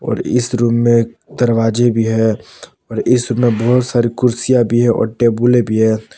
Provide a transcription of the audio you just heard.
और इस रूम में दरवाजे भी हैं और इस रूम में बहुत सारी कुर्सियां भी है और टेबलें भी हैं।